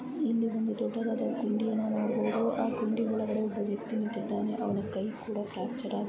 ಇಲ್ಲಿ ಒಂದು ದೊಡ್ಡದಾದ ಗುಂಡಿಯನ್ನು ನೋಡಬೋದು ಆ ಗುಂಡಿ ಒಳಗಡೆ ಒಬ್ಬ ವ್ಯಕ್ತಿ ನಿಂತಿದಾನೆ ಅವನ ಕೈ ಕೂಡ ಫ್ರಾಕ್ಚರ್ ಆಗಿದೆ.